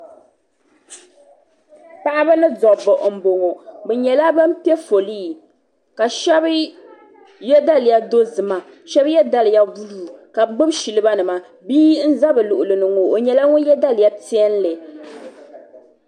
Paɣaba ni dabba m boŋɔ bɛ nyɛla ban piɛ folii ka sheba ye daliya dozima sheba ye daliya buluu ka bɛ gbibi siliba nima bihi n za bɛ luɣuli ni ŋɔ o nyɛla ŋun ye daliya piɛlli.